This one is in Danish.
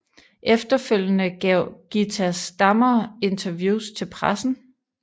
Efterfølgende gav Gitta Stammer interviews til pressen